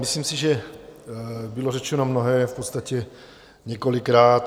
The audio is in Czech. Myslím si, že bylo řečeno mnohé v podstatě několikrát.